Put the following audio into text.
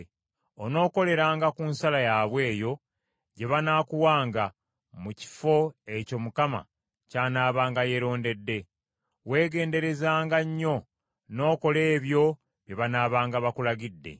Onookoleranga ku nsala yaabwe eyo gye banaakuwanga mu kifo ekyo Mukama ky’anaabanga yeerondedde. Weegenderezanga nnyo n’okola ebyo bye banaabanga bakulagidde.